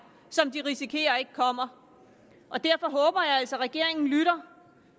som de risikerer ikke kommer og derfor håber jeg altså at regeringen lytter